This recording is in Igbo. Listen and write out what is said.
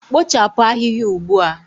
Kpochapụ ahịhịa ugbu a